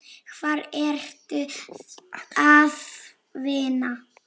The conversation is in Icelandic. Hvar ertu að vinna?